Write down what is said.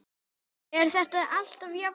Er þetta alltaf jafn gaman?